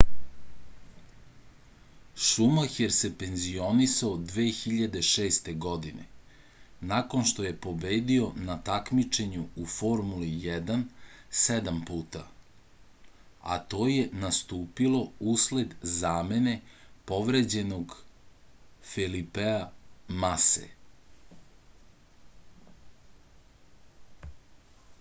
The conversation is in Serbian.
šumaher se penzionisao 2006. godine nakon što je pobedio na takmičenju u formuli 1 sedam puta a to je nastupilo usled zamene povređenog felipea mase